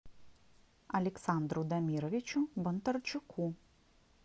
александру дамировичу бондарчуку